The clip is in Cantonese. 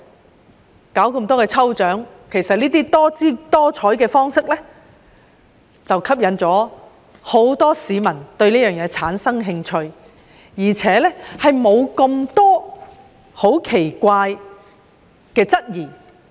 商界舉辦多項抽獎，種種方式吸引了很多市民對事情產生興趣，而且沒有提出太多奇怪的質疑。